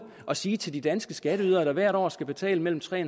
at sige til danske skatteydere der hvert år skal betale mellem tre